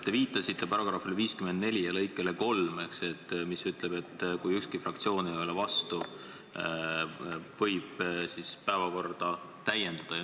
Te viitasite § 54 lõikele 3, mis ütleb, et kui ükski fraktsioon ei ole vastu, võib päevakorda täiendada.